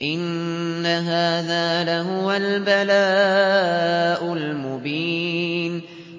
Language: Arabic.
إِنَّ هَٰذَا لَهُوَ الْبَلَاءُ الْمُبِينُ